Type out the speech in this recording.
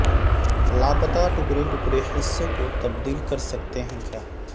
لاپتہ ٹکڑے ٹکڑے حصوں کو تبدیل کر سکتے ہیں کیا